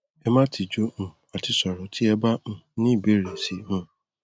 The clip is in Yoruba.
ẹ má tijú um àti sọrọ tí ẹ bá um ní ìbéèrè si um